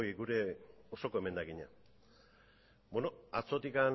gure osoko emendakina atzotik